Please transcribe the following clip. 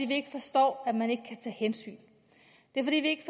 vi ikke forstår at man ikke kan tage hensyn det er fordi vi ikke